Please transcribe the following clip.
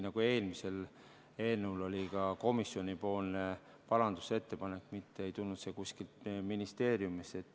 Ka eelmise eelnõu puhul oli komisjoni parandusettepanek, see ei tulnud kuskilt ministeeriumist.